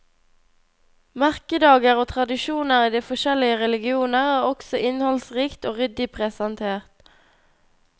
Merkedager og tradisjoner i de forskjellige religioner er også innholdsrikt og ryddig presentert.